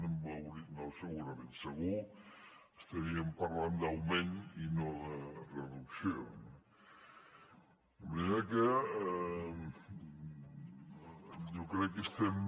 no segurament segur estaríem parlant d’augment i no de reducció no de manera que jo crec que estem